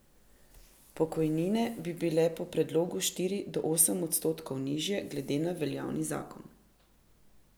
Pokojnine bi bile po predlogu štiri do osem odstotkov nižje glede na veljavni zakon.